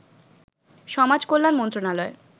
সমাজ কল্যাণ মন্ত্রণালয়